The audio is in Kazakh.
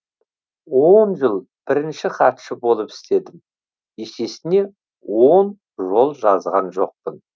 он жыл бірінші хатшы болып істедім есесіне он жол жазған жоқпын